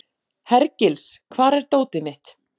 Hergils, hvar er dótið mitt?